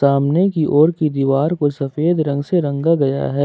सामने की ओर की दीवार को सफेद रंग से रंगा गया है।